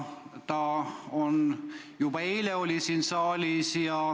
Ta oli juba eile siin saalis.